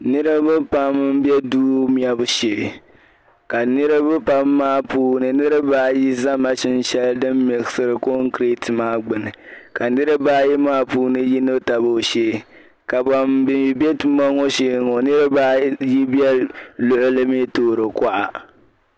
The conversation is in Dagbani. Niriba pam n be duu mebu shee ka niriba pam maa puuni niriba ayi zala binshɛli din muɣisiri concreat maa gbunni ka niriba ayi maa puuni yino tab o shee ka ban mi be tuma ŋɔ shee ŋɔ niriba ayi mi be luɣili mi toori kuɣa.